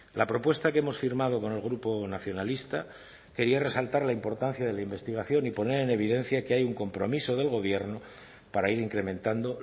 la propuesta que hemos firmado con el grupo nacionalista quería resaltar la importancia de la investigación y poner en evidencia que hay un compromiso del gobierno para ir incrementando